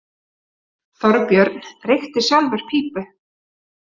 Þorbjörn reykti sjálfur pípu.